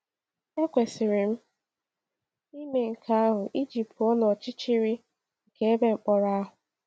Ekwesịrị m ime nke ahụ iji pụọ n’ọchịchịrị nke ebe mkpọrọ ahụ.